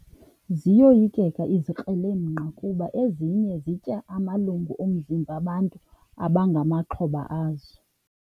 Ziyoyikeka izikrelemnqa kuba ezinye zitya amalungu omzimba bantu abangamaxhoba azo.